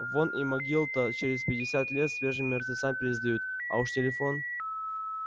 вон и могил-то через пятьдесят лет свежим мертвецам пересдают а уж телефон